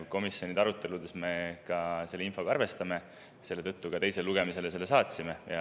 Komisjonide aruteludes me ka selle infoga arvestasime ja selle tõttu selle ka teisele lugemisele saatsime.